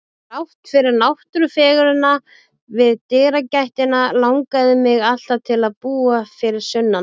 Þrátt fyrir náttúrufegurðina við dyragættina langaði mig alltaf til að búa fyrir sunnan.